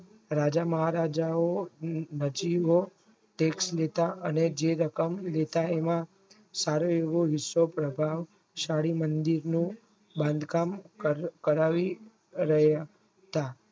રાજા મહારાજાઓ માછલીઓ tex મુક્ત અને જે રકમ લેતા એનો સારી રીતે વિશ્વ વળી મંડી ને બાંધકામ કરાવી રહ્યા હતા.